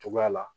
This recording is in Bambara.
Togoya la